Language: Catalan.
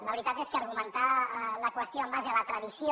la veritat és que argumentar la qüestió en base a la tradició